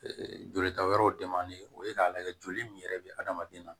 jolita wɛrɛw o ye k'a lajɛ joli min yɛrɛ bɛ adamaden na